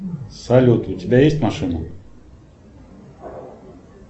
салют у тебя есть машина